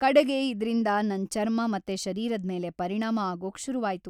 ಕಡೆಗೆ ಇದ್ರಿಂದ ನನ್‌ ಚರ್ಮ ಮತ್ತೆ ಶರೀರದ್‌ ಮೇಲೆ ಪರಿಣಾಮ ಆಗೋಕ್‌ ಶುರುವಾಯ್ತು.